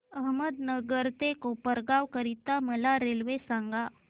अहमदनगर ते कोपरगाव करीता मला रेल्वे सांगा